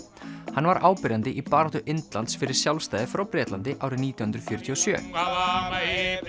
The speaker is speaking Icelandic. hann var áberandi í baráttu Indlands fyrir sjálfstæði frá Bretlandi árið nítján hundruð fjörutíu og sjö